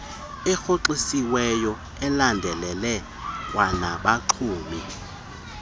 erhoxisiweyo ulandelele kwanabaxumi